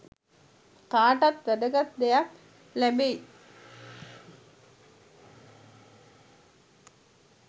කාටත් වැදගත් දෙයක් ලැබෙයි